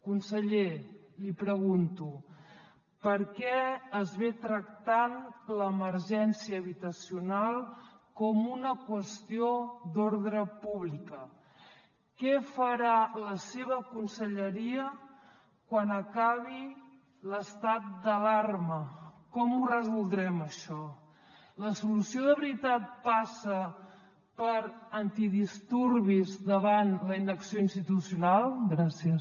conseller li pregunto per què es tracta l’emergència habitacional com una qüestió d’ordre públic què farà la seva conselleria quan acabi l’estat d’alarma com ho resoldrem això la solució de veritat passa per antidisturbis davant la inacció institucional gràcies